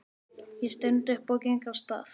Ég stend upp og geng af stað.